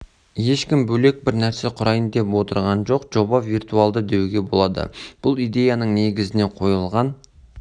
ешкім бөлек бір нәрсе құрайын деп отырған жоқ жоба виртуалды деуге болады бұл идеяның негізіне қойылған